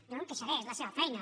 jo no em queixaré és la seva feina